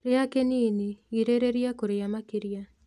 Rĩa kĩnini, girĩrĩrĩa kũrĩa makĩrĩa